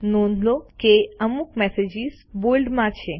નોંધ લો કે અમુક મેસેજીસ બોલ્ડમાં છે